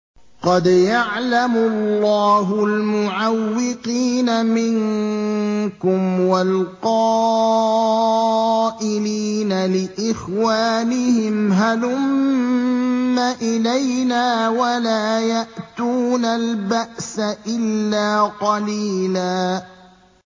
۞ قَدْ يَعْلَمُ اللَّهُ الْمُعَوِّقِينَ مِنكُمْ وَالْقَائِلِينَ لِإِخْوَانِهِمْ هَلُمَّ إِلَيْنَا ۖ وَلَا يَأْتُونَ الْبَأْسَ إِلَّا قَلِيلًا